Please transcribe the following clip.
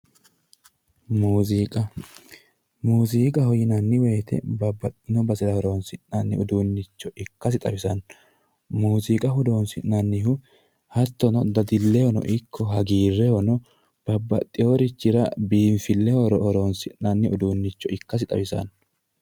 muuziqa muziiqaho yinanni woyte babbaxewo basera horoonsi'nanni uduunnicho ikkasi xawisanno mooziqa horoonsi'nannihu dadillehono ikko dadillehono babbaxeworichira biinfilleho horoonsi'nanni uduunnicho ikkasi xawisanno